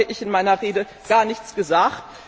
Darüber hatte ich in meiner Rede gar nichts gesagt.